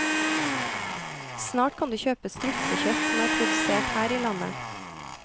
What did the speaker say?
Snart kan du kjøpe strutsekjøtt som er produsert her i landet.